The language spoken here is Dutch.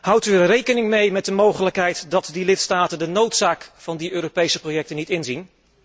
Houdt u rekening met de mogelijkheid dat die lidstaten de noodzaak van die Europese projecten niet inzien?